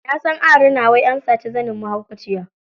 Nasan a rina wai ansaci zanin mahaukaciya.